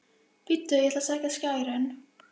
Bíddu ég ætla að sækja skærin.